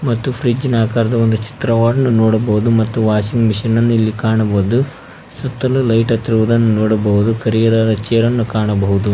ಮತ್ತು ಫ್ರಿಜ್ಜಿನ ಆಕಾರದ ಒಂದು ಚಿತ್ರವನ್ನು ನೋಡಬಹುದು ಮತ್ತು ವಾಷಿಂಗ್ ಮಿಷನ್ ನನ್ನು ಇಲ್ಲಿ ಕಾಣಬಹುದು ಸುತ್ತಲು ಲೈಟ್ ಹತ್ತಿರುವುದನ್ನು ನೋಡಬಹುದು ಕರಿಯ ದಾದ ಚೇರನ್ನು ಕಾಣಬಹುದು.